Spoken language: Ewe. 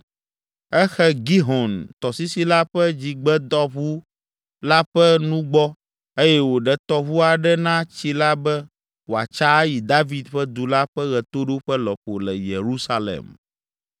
Exe Gihon tɔsisi la ƒe Dzigbetɔʋu la ƒe nugbɔ eye wòɖe tɔʋu aɖe na tsi la be wòatsa ayi David ƒe Du la ƒe ɣetoɖoƒe lɔƒo le Yerusalem.